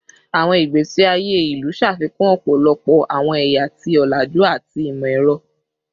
Awọn igbesi aye ilu ṣafikun ọpọlọpọ awọn ẹya ti olaju ati imọ-ẹrọ